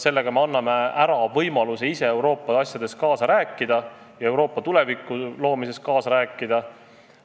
Nii anname ära võimaluse Euroopa asjades, Euroopa tuleviku loomises kaasa rääkida.